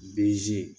Bzi